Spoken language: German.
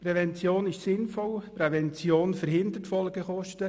Prävention ist sinnvoll und verhindert Folgekosten.